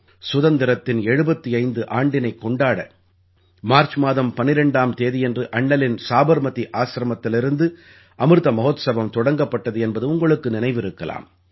சுதந்திரத்தின் 75 ஆண்டினைக் கொண்டாட மார்ச் மாதம் 12ஆம் தேதியன்று அண்ணலின் சாபர்மதி ஆசிரமத்திலிருந்து அமிர்த மஹோத்ஸவம் தொடங்கப்பட்டது என்பது உங்களுக்கு நினைவிருக்கலாம்